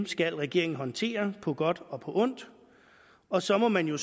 skal regeringen håndtere på godt og ondt og så må man jo